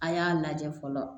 A y'a lajɛ fɔlɔ